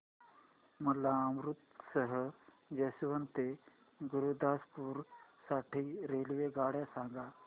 मला अमृतसर जंक्शन ते गुरुदासपुर साठी रेल्वेगाड्या सांगा